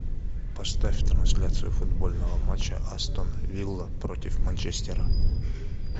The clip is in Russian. оставь трансляцию футбольного матча астон вилла против манчестера